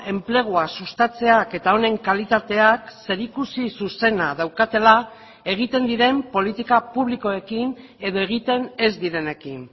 enplegua sustatzeak eta honen kalitateak zerikusi zuzena daukatela egiten diren politika publikoekin edo egiten ez direnekin